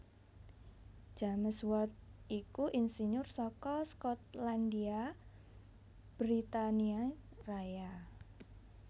James Watt iku insinyur saka Skotlandia Britania Raya